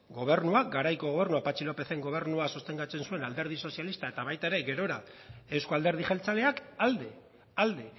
gobernuak garaiko gobernuak patxi lópezen gobernua sostengatzen zuen alderdi sozialista eta baita ere gerora euzko alderdi jeltzaleak alde alde